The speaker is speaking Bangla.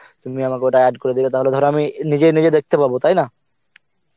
তুমি আমাকে ওটা add করে দিলে তাহলে ধর আমি নিজেই নিজে দেখতে পাব তাইনা?